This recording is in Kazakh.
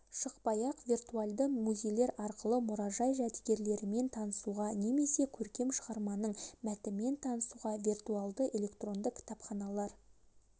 шықпай-ақ виртуальды музейлер арқылы мұражай жәдіргеліктерімен танысуға немесе көркем шығарманың мәтімен танысуда вертуальды электронды кітапханалар